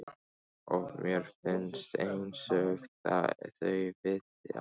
Og mér finnst einsog þau viti allt.